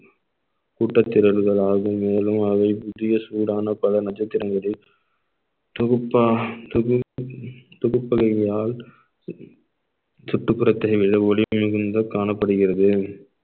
கூட்டத்திரள்கள் ஆகும் மேலும் அவை புதிய சூடான பல நட்சத்திரங்களில் தொகுப்பா தொகுப்பு தொகுப்பு வகையால் சுற்றுப்புறத்தில் வெள்ள ஒளி மிகுந்த காணப்படுகிறது